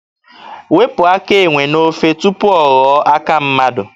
Wepụ aka enwe n'ofe tupu ọ ghọọ aka mmadụ.